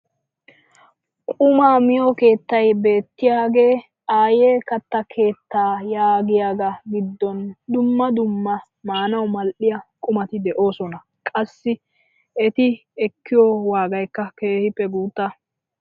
Qumaa miyoo keettay beettiyaagee "Ayee katta keettaa" yaagiyaagaa giddon dumma dumma maanawu mal"iyaa qumati de'oosona. qassi eti ekkiyoo waagaykka keehippe guutta.